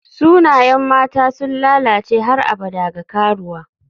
Sunayen mata sun lalace har abada ga karuwa.